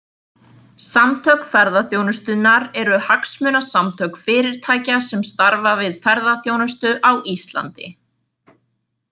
Samtök ferðaþjónustunnar eru hagsmunasamtök fyrirtækja sem starfa við ferðaþjónustu á Íslandi.